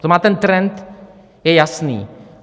To znamená, ten trend je jasný.